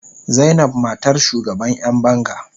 Zainab matar shugaban yan banga.